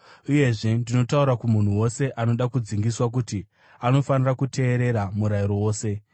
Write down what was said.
Uyezve, ndinotaura kumunhu wose anoda kudzingiswa kuti anofanira kuteerera murayiro wose.